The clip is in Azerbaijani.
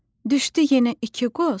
Düşdü yenə iki qoz.